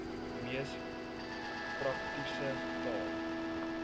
mees praktiese taal